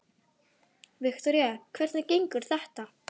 Viktoría: Hvernig gengur þetta?